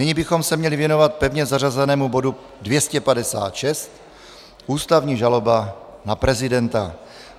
Nyní bychom se měli věnovat pevně zařazenému bodu 256 - ústavní žaloba na prezidenta.